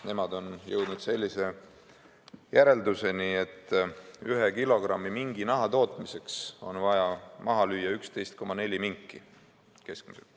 Nemad on jõudnud järelduseni, et ühe kilogrammi minginaha tootmiseks on vaja maha lüüa keskmiselt 11,4 minki.